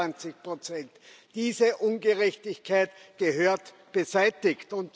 26 Diese Ungerechtigkeit gehört beseitigt.